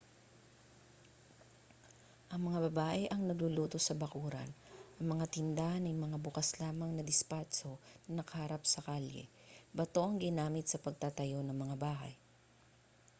ang mga babae ang nagluluto sa bakuran ang mga tindahan ay mga bukas lamang na dispatso na nakaharap sa kalye bato ang ginamit sa pagtatayo ng mga bahay